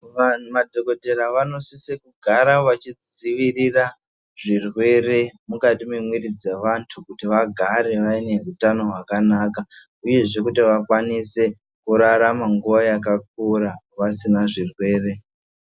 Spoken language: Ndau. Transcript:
Vamadhokotera vanosise kugara vachidzivirira zvirwere mukati mwemwiri dzavantu kuti vagare vane hutano hwakanaka, uyezve kuti vakwanise kurarama nguwa yakakura, vasina zvirwere.